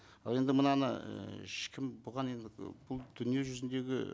ал енді мынаны ыыы ешкім бұған енді бұл дүниежүзіндегі